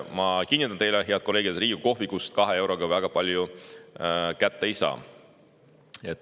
Ma kinnitan teile, head kolleegid, et Riigikogu kohvikust 2 euroga väga palju kätte ei saa.